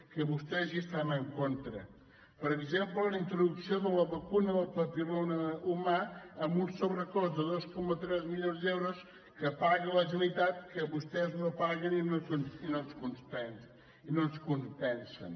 que vostès hi estan en contra per exemple la introducció de la vacuna del papil·loma humà amb un sobrecost de dos coma tres milions d’euros que paga la generalitat que vostès no paguen i no ens compensen